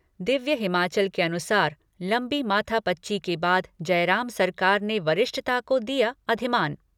दिव्य हिमाचल के अनुसार लंबी माथापच्ची के बाद जयराम सरकार ने वरिष्ठता को दिया अधिमान।